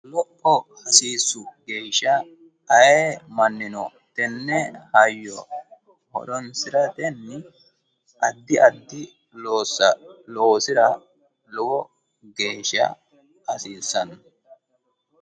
wolqa hasiissu geeshsha ayee mannino tenne tenne hayyo horonsiratenni addi addi loossa loosira lowo geeshsha hasiissanno.